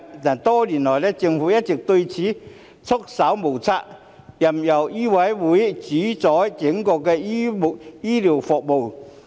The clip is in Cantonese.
但多年來，政府對此一直束手無策，任由醫委會主宰整個公營醫療服務。